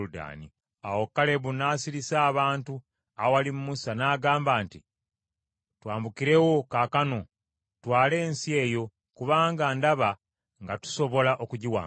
Awo Kalebu n’asirisa abantu awali Musa n’agamba nti, “Twambukirewo kaakano tutwale ensi eyo, kubanga ndaba nga tusobola okugiwangula.”